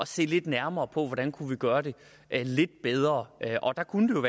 se lidt nærmere på hvordan vi kunne gøre det lidt bedre der kunne